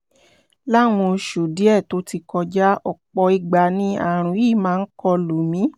láwọn oṣù díẹ̀ tó ti kọjá ọ̀pọ̀ ìgbà ni ààrùn yìí máa ń kọlù mí